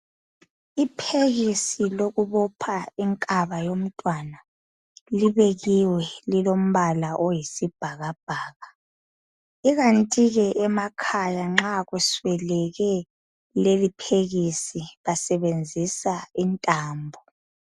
Iphekisi lokubopha inkaba yomntwana libekiwe. lilombaka oyisibhakabhaka. Kukanti ekhaya nza kuswelakale leliphekisi. Basebenzisa intambo.